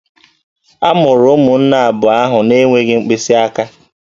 A mụrụ ụmụnne abụọ ahụ na-enweghị mkpịsị aka